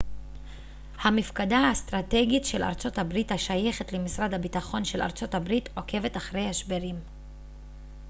המפקדה האסטרטגית של ארצות הברית השייכת למשרד הביטחון של ארצות הברית עוקבת אחר השברים